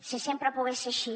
si sempre pogués ser així